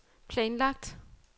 planlagt